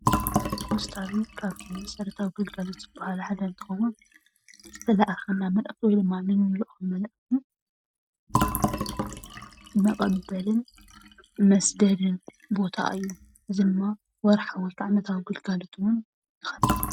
ፖስታ ካብቶም መሰረታዊ ግልጋሎት ዝብሃል ሓደ እንትኾኑ ዝተለኣከልና መልእኽቲ ወይ ድማ እንልእኮም፣ መልእኽቲ መቀበልን መስደድን ቦታ እዩ። ነዚ ወርሓዊ ወይድማ ናይ ግልጋሎትና እውን ንከፍል።